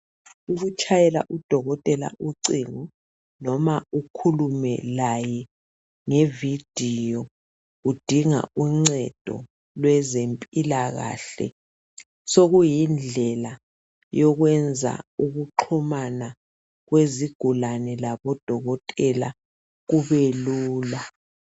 Ukutshayela udokotela ucingo noma ukhulume laye nge vidiyo kudinga uncedo lweze mpilakahle. Sokuyindlela yokwenza ukuxhumana kwezigulane labo dokotela kube lula.